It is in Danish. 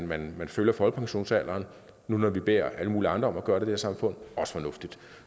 man følger folkepensionsalderen nu hvor vi beder alle mulige andre om at gøre det her samfund er også fornuftigt